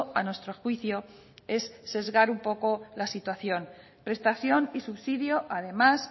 a nuestro juicio es sesgar un poco la situación prestación y subsidio además